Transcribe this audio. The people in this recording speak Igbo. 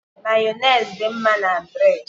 Mayonezi dị mma na bréd